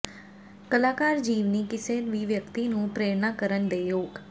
ਕਲਾਕਾਰ ਜੀਵਨੀ ਕਿਸੇ ਵੀ ਵਿਅਕਤੀ ਨੂੰ ਪ੍ਰੇਰਨਾ ਕਰਨ ਦੇ ਯੋਗ